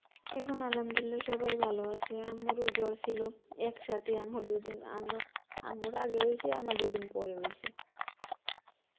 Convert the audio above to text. এখন Arbi সবাই ভালো আছে, আম্মুর ও জ্বর ছিল এক সাথে আম্মুর দু দিন আমার~ আম্মুর আগে হয়েছে আমার দুই দিন পরে হয়ছে